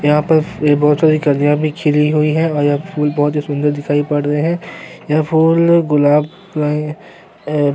यहां पर ये बहोत सारी कलियाँ भी खिली हुई है और यह फूल बहोत ही सुंदर दिखाई पड़ रहे हैं यह फूल गुलाब के एैं --